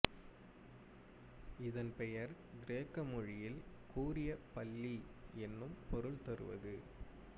இதன் பெயர் கிரேக்க மொழியில் கூரிய பல்லி என்னும் பொருள் தருவது